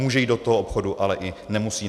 Může jít do toho obchodu, ale i nemusí.